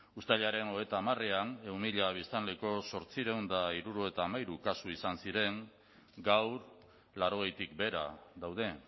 uztailaren hogeita hamarean ehun mila biztanleko zortziehun eta hirurogeita hamairu kasu izan ziren gaur laurogeitik behera daude